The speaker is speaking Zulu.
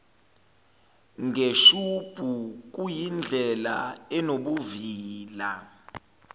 ngeshubhu kuyindlela enobuvila